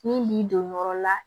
Min b'i don yɔrɔ la